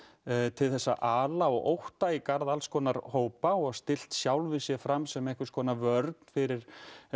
til að ala á ótta í garð hópa og stillt sjálfum sér fram sem einhvernskonar vörn fyrir